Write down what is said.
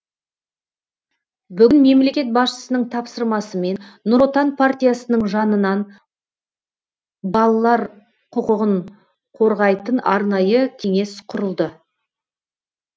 бүгін мемлекет басшысының тапсырмасымен нұр отан партиясының жанынан балалар құқығын қорғайтын арнайы кеңес құрылды